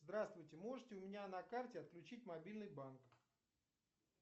здравствуйте можете у меня на карте отключить мобильный банк